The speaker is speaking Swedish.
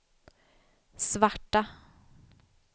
svarta